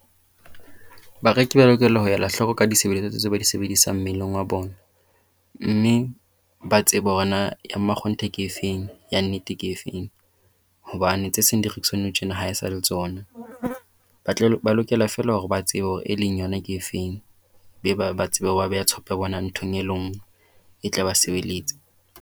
Bareki ba lokela ho ela hloko ka ditshebeletso tse tse ba di sebedisang mmeleng wa bona. Mme ba tsebe hore na ya makgonthe ke efeng. Ya nnete ke efeng. Hobane tse seng di rekiswa nou tjena ha e sa le tsona. Ba ba lokela feela hore ba tsebe hore e leng yona ke efeng. Be ba ba tsebe hore ba beha tshepo ya bona nthong e le ngwe e tla ba sebeletsa.